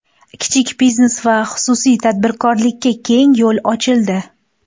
Kichik biznes va xususiy tadbirkorlikka keng yo‘l ochildi.